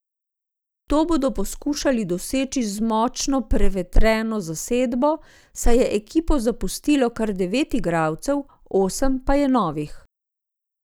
To bodo poskušali doseči z močno prevetreno zasedbo, saj je ekipo zapustilo kar devet igralcev, osem pa je novih.